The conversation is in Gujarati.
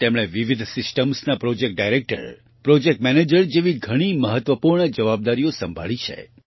તેમણે વિવિધ સિસ્ટમ્સ ના પ્રોજેક્ટ ડાયરેક્ટર પ્રોજેક્ટ મેનેજર જેવી ઘણી મહત્વપૂર્ણ જવાબદારીઓ સંભાળી છે